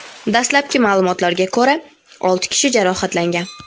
Dastlabki ma’lumotlarga ko‘ra, olti kishi jarohatlangan.